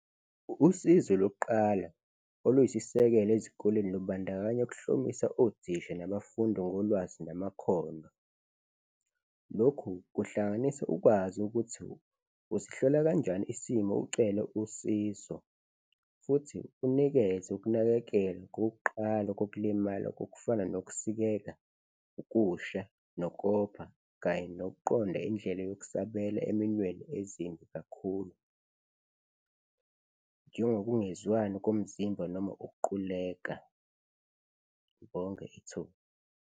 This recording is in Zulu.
Usizwe lokuqala, oluyisisekelo ezikoleni lubandakanya ukuhlomisa otisha nabafundi ngolwazi namakhono. Lokhu kuhlanganisa ukwazi ukuthi usihlola kanjani isimo ucele usizo futhi unikeze ukunakekela kokuqala kokulimala kokufana nokusikeka, ukusha nokopha kanye nokuqonda indlela yokusabela eminweni ezimbi kakhulu, njengokungezwani komzimba noma ukuquleka. Ngibonge ithuba.